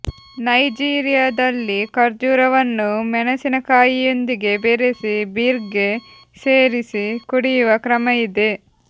ನೈಜೀರಿಯದಲ್ಲಿ ಖರ್ಜೂರವನ್ನು ಮೆಣಸಿನಕಾಯಿಯೊಂದಿಗೆ ಬೆರೆಸಿ ಬೀರ್ಗೆ ಸೇರಿಸಿ ಕುಡಿಯುವ ಕ್ರಮ ಇದೆ